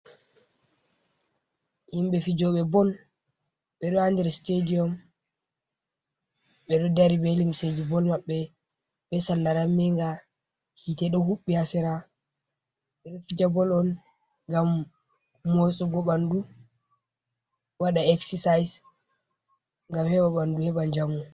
Himɓɓe fijoɓe bol ɓe ɗo ha nder stadium ɓe ɗo dari be limseji bol maɓɓe be salla ramminga, hitte ɗo huɓbi hasera, ɓe ɗo fija bol on gam mosugo ɓandu waɗa exercise gam heɓa ɓandu heɓa njamu.